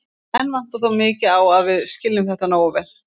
Enn vantar þó mikið á að við skiljum þetta nógu vel.